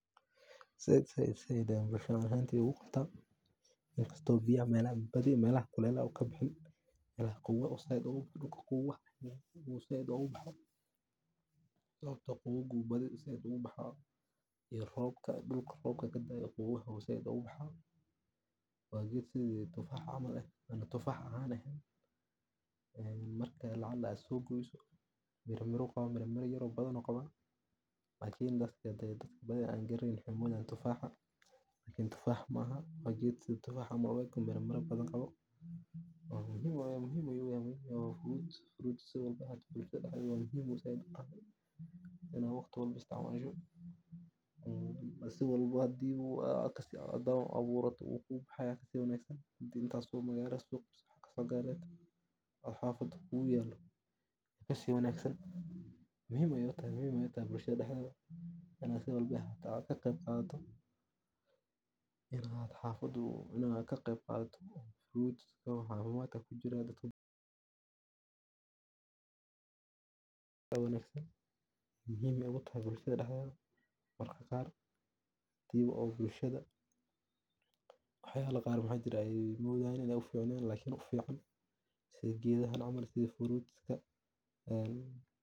Said said ayan ogu bixin waqti in kasto meelaha biyaha badi melaha kulelaha u kabaxo, dulka qawowah u said oga baxo mesha qawowga u said oga baxo iyo robka dulka kadaayo qawowaha aya said ubaxa waa geed si tufax camal tufah leh ee marka lacala aad so goyso mir mira ayu qawa mir miro badan ayu qawa lakin dadka badi an garaneynin waxee u maleyan tufaxa lakin tufax maaha waa geed sitha tufax camal mira mira badan qawo oo muhiim ayu uyahay siwalbo ee ahatawa muhiim ayu uyahay in aa waqti walbo isticmasho si walbow hadii Haa aburato wukubaxaya aya kasi wanagsan hadii intas oo meel ku aburto magalada aya geyni waa kaso gadani oo xafada kuyalo aya kasi wanagsan muhiim ayey u tahay bulshaada daxdeda in aa si walbawa aa ka qeb qadato in aa xafada maaragte aa ka qeb qadato waa cafimadka kujira dadku aa ba wanagsan muhiim be utahay bulshaada daxdedha marka qar hadii bulshaada waxyala qaar oo maxaa jire ee modhayin in ee uficnen lakin ufican sitha gedahan camal sitha fruits ka.